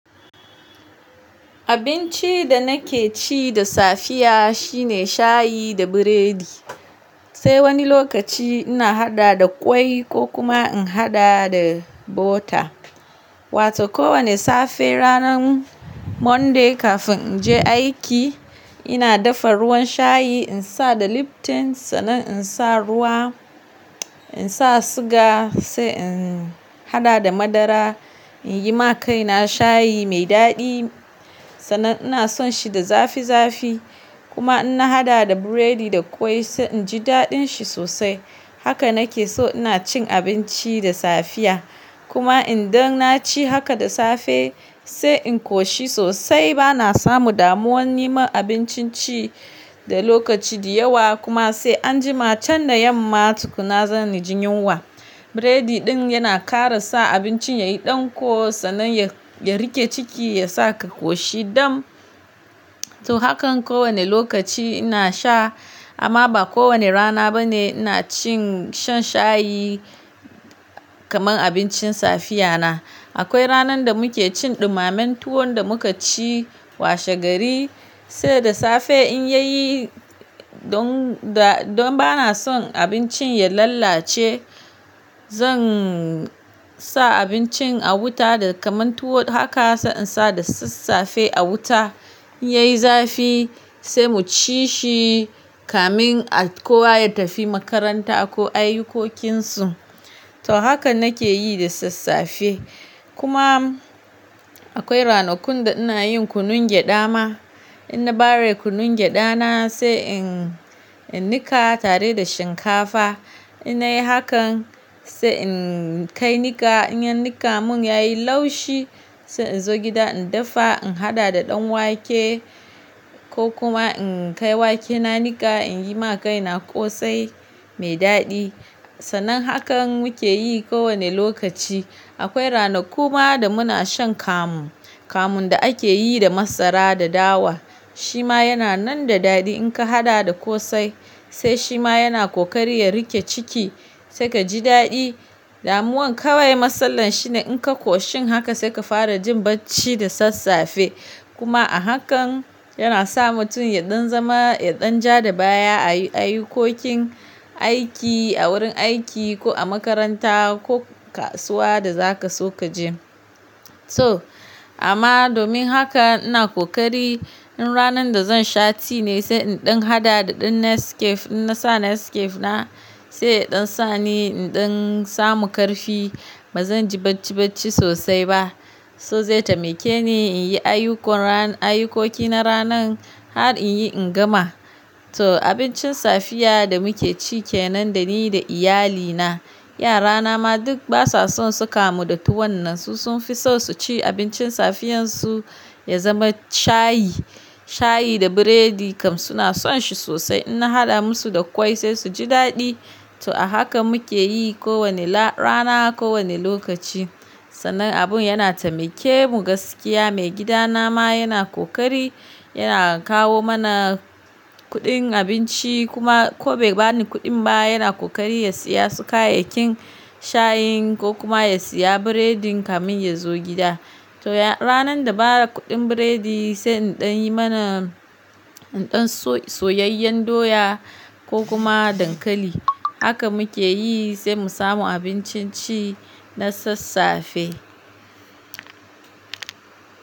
Abincin da nake ci da safiya shine shayi da biredi. Sai wani lokaci ina haɗa da ƙwai ko kuma in haɗa da bota. Wata ko wane safe ranar Monday kafin in je aiki, ina dafa ruwan shayi, in sa da Lipton, sannan in sa ruwa, in sa siga sai in haɗa da madara, in yi ma kaina shayi mai daɗi. Sanan ina son shi da zafi zafi kuma in na haɗa da biredi da ƙwai sai inji daɗin shi sosai. Haka nake so ina cin abinci da safiya. Kuma in dan na ci haka da safe sai in koshi sosai, ba na samu damuwan niman abincin ci da lokaci da yawa kuma sai anjima can da yamma tukuna zan na jin yunwa. Biredi ɗin yana ƙara sa abincin yayi ɗanƙo sannan ya, ya riƙe ciki ya sa ka koshi dam. To hakan ko wane lokaci ina sha amma ba ko wane rana ba ne ina cin shan shayi kaman abincin safiya na. Akwai ranan da muke cin ɗumammen tuwon da muka ci washegari sai da safe in ya yi don da, don ba na son abincin ya lalace, zan sa abincin a wuta da kamantuwo haka sai in sa da sassafe a wuta, in yayi zafi sai mu ci shi kamin a, kowa ya tafi makaranta ko ayukokinsu. To hakan nake yi da sassafe. Kuma akwai ranakun da ina yin kunun gyaɗa ma. In na bare kunun gyaɗa na sai in, in niƙa tare da shinkafa. In yayi hakan sai in kai niƙa, in yi niƙa mun yayi laushi sai in zo gida in dafa, in haɗa da ɗan wake ko kuma in kai wakena niƙa, in yi ma kaina ƙosai mai daɗi. Sanan hakan muke yi ko wane lokaci. Akwai ranaku ma da muna shan kamu. Kamun da ake yi da masara da dawa. Shi ma yana nan da daɗi in ka haɗa da ƙosai sai shi ma yana ƙoƙari ya riƙe ciki sai ka ji daɗi. Damuwan kawai masalan shi ne in ka koshi haka sai ka fara jin bacci da sassafe. Kuma a hakan yana sa mutum ya ɗan zama, ya ɗan ja da baya a yi, a ayukokin aiki a wurin aiki ko a makaranta ko kasuwa da zaka so ka je. So amma domin haka ina ƙoƙari in ranan da zan sha ti ne sai in ɗan haɗa da ɗin Nescafe. In na sa Nescafe na sai in ɗan sani, in ɗan samu ƙarfi ba zan ji bacci bacci sosai ba. So zai tamike ni in yi ayukon ran, ayukoki na ranan har in yi in gama. To abincin safiya da muke ci ke nan da ni da iyali na. Yara na ma duk basa son su kamu da tuwon nan. Su sun fi son su ci abincin safiyansu ya zama shayi. Shayi da biredi kam suna son shi sosai. In na haɗa musu da ƙwai sai su ji daɗi. To a haka muke yi ko wane la, rana ko wane lokaci. Sanan abun yana tamike mu gaskiya. Maigida na ma yana ƙoƙari, yana kawo mana kuɗin abinci kuma ko bai bani kuɗin ba yana ƙoƙari ya siya su kayayyakin shayin ko kuma ya siya biredin kamin ya zo gida. To ya, ranan da ba da kuɗin biredi sai in ɗan yi mana, in ɗan so, soyayyen doya ko kuma dankali. Haka muke yi sai mu samu abincin ci na sassafe.